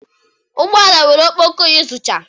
Ụgbọ ala nwere ọkpọkọ iyuzucha